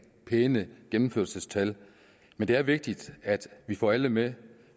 pæne gennemførelsestal men det er vigtigt at vi får alle med